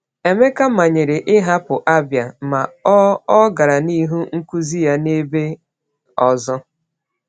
Emeka manyere ịhapụ Abia, ma o o gara n’ihu nkuzi ya n’ebe ọzọ.